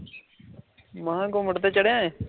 ਗੁੱਮਤ ਤੇ ਚੜ੍ਹਿਆ ਏਂ?